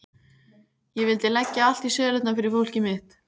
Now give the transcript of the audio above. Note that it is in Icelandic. Ég vildi leggja allt í sölurnar fyrir fólkið mitt.